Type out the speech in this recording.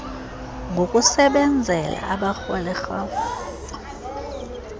ngokusebenzela abarholi rhafu